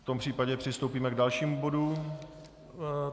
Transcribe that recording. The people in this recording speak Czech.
V tom případě přistoupíme k dalšímu bodu.